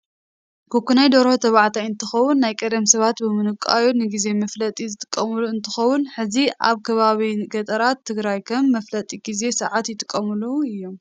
ክኩናይ ዶርሆ ተባዓተይ እንትከውን ናይ ቀዳም ሰባት ብምንቋዩ ንግዜ መፍለጢ ዝጥቀምሉ እንትከውን ሕዚም ኣብ ከባቢ ገጠራት ትግራይ ከም መፍለጢ ግዜ ሰዓት ይጥቀሙሉ እዮም።